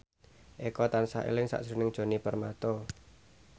Eko tansah eling sakjroning Djoni Permato